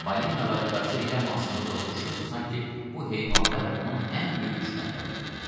Balinalara qarşı elə amansızlıqla vuruşurdu, sanki bu heyvanlar onun ən böyük düşmənləri idi.